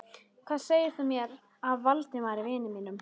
Hvað segir þú mér af Valdimari, vini mínum?